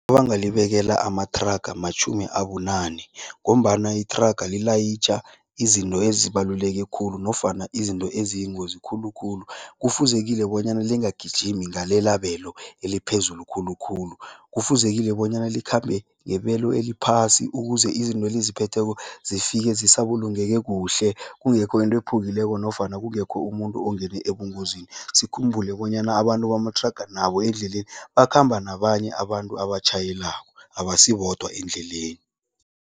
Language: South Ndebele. Ebangalibekela amathraga matjhumi abunane ngombana ithraga lilayitjha izinto ezibaluleke khulu nofana izinto eziyingozi khulukhulu. Kufuzekile bonyana lingagijimi ngalelabelo eliphezulu khulukhulu, kufuzekile bonyana likhambe ngebelo eliphasi ukuze izinto eliziphetheko zifike zisabulungeke kuhle, kungekho into ephukileko nofana kungekho umuntu ongene ebungozini. Sikhumbule bonyana abantu bamathraga nabo endleleni bakhamba nabanye abantu abatjhayelabko, abasibodwa endleleni.